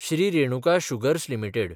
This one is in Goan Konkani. Shri Renuka Sugars limited